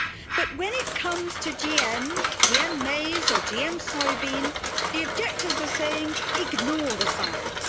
But when it comes to GM maize or GM soya bean, the objectors are saying ignore the science'.